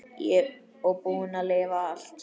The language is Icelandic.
Og búin að lifa allt.